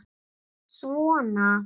Svona